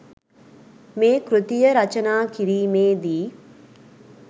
මේ කෘතිය රචනා කිරීමේදී